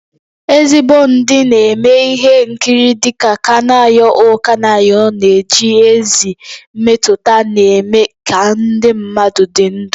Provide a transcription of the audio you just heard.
Ezigbo ndị na-eme ihe nkiri dị ka Kanayo O Kanayo na-eji ezi mmetụta na-eme ka ndị mmadụ dị ndụ